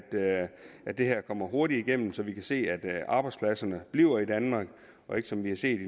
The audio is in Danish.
at det her kommer hurtigt igennem så vi kan se at arbejdspladserne bliver i danmark og ikke som vi har set